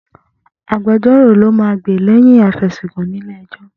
Agbejọ́rò ló máa gbè lẹ́yìn afẹ̀sùnkàn nílé ẹjọ́.